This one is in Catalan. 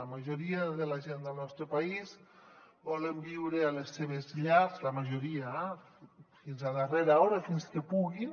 la majoria de la gent del nostre país volen viure a les seves llars la majoria eh fins a darrera hora fins que puguin